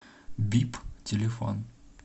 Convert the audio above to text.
бип телефон